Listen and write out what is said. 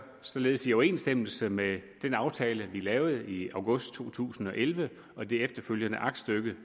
således i overensstemmelse med den aftale vi lavede i august to tusind og elleve og det efterfølgende aktstykke